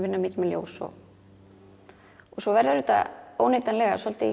vinna mikið með ljós og svo verður þetta óneitanlega svolítið